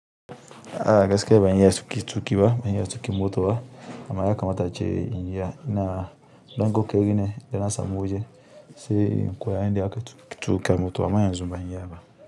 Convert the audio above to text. A gaske banya ya tsuki ba, banya ya tsuki mota ba, amma ya kamata ce nya ina dango ke gini da rana sama waje se kuwa inda aka tsuke mota amma yanzu banya ya ba.